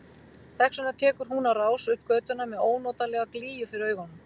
Þess vegna tekur hún á rás upp götuna með ónotalega glýju fyrir augunum.